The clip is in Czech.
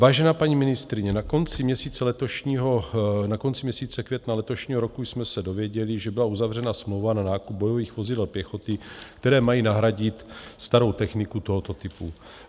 Vážená paní ministryně, na konci měsíce května letošního roku jsme se dověděli, že byla uzavřena smlouva na nákup bojových vozidel pěchoty, které mají nahradit starou techniku tohoto typu.